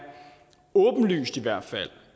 åbenlyst